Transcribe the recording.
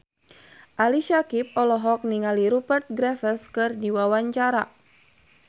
Ali Syakieb olohok ningali Rupert Graves keur diwawancara